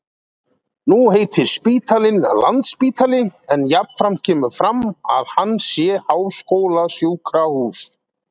Nú heitir spítalinn Landspítali en jafnframt kemur fram að hann sé háskólasjúkrahús.